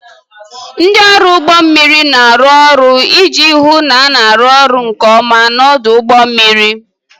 Ndị ọrụ ụgbọ mmiri na-arụ ọrụ iji hụ na a na-arụ ọrụ nke ọma n'ọdụ ụgbọ mmiri.